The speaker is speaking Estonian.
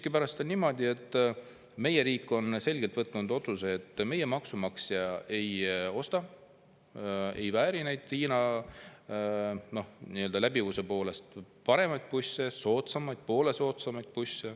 Miskipärast on niimoodi, et meie riik on selgelt võtnud vastu otsuse, et meie maksumaksja ei vääri neid Hiina busse, mis on läbivuse poolest paremad ja poole soodsamad.